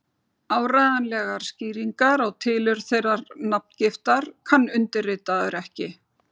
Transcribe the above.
Áreiðanlegar skýringar á tilurð þeirrar nafngiftar kann undirritaður ekki.